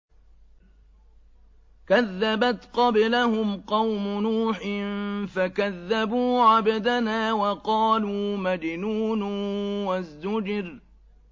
۞ كَذَّبَتْ قَبْلَهُمْ قَوْمُ نُوحٍ فَكَذَّبُوا عَبْدَنَا وَقَالُوا مَجْنُونٌ وَازْدُجِرَ